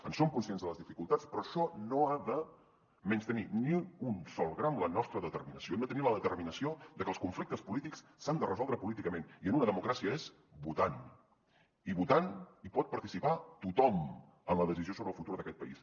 en som conscients de les dificultats però això no ha de menystenir ni un sol gram la nostra determinació hem de tenir la determinació de que els conflictes polítics s’han de resoldre políticament i en una democràcia és votant i votant hi pot participar tothom en la decisió sobre el futur d’aquest país